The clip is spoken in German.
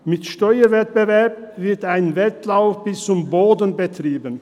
Mit dem Steuerwettbewerb wird ein Wettlauf bis zum Boden betrieben.